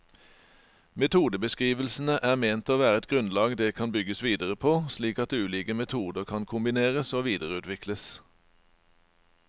Metodebeskrivelsene er ment å være et grunnlag det kan bygges videre på, slik at ulike metoder kan kombineres og videreutvikles.